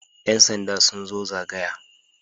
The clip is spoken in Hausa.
Yan sanda sun zo zagaya.